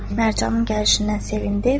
Mərcanın gəlişindən sevindi.